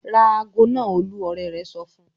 "Ra ago náà Olú!" Ọ̀rẹ́ rẹ̀ sọ fún un.